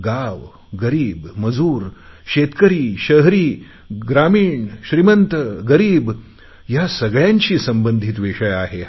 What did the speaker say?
गाव गरीब मजूर शेतकरी शहरी ग्रामीण श्रीमंतगरीब या सगळयांशी संबंधित हा विषय आहे